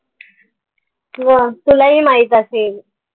तुलाही माहित असेल